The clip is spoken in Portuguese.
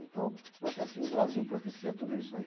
Então, eu acho que o Brasil propicia tudo isso aí.